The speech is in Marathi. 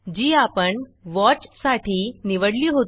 जी आपण वॉचसाठी निवडली होती